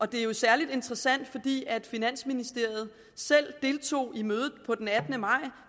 det er jo særlig interessant fordi finansministeriet selv deltog i mødet den attende maj